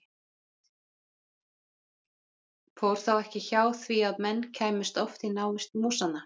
Fór þá ekki hjá því að menn kæmust oft í návist músanna.